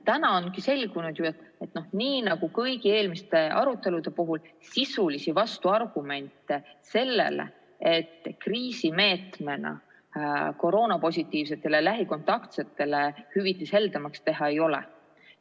Täna ongi ju selgunud, et nii nagu kõigi eelmiste arutelude puhul, sisulisi vastuargumente sellele, et kriisimeetmena koroonapositiivsetele ja lähikontaktsetele hüvitis heldemaks teha, ei ole.